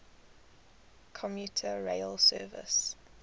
commuter rail service